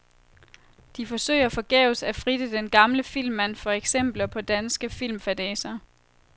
De forsøger forgæves at fritte den gamle filmmand for eksempler på danske filmfadæser.